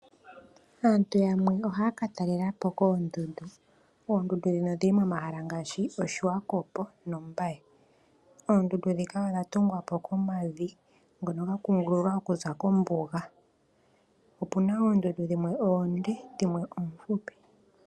Aantu yamwe ohaya ka talelapo koondundu, oondundu dhino odhili komahala ngashi Oshiwakopo nOmbaye. Oondundu dhika odha tungwa po komavi ngono ga kungululwa okuza kombuga. Opuna oondundu dhimwe oonde, dhimwe oofupi.